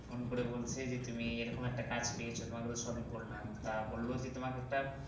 phone করে বলছে যে তুমি এইরকম একটা কাজ পেয়েছো যে তোমাকে তো সবই বললাম তা বললো যে তোমাকে একটা